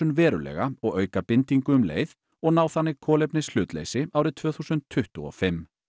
verulega og auka bindinguna um leið og ná þannig kolefnishlutleysi árið tvö þúsund tuttugu og fimm